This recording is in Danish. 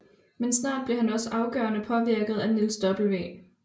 Men snart blev han også afgørende påvirket af Niels W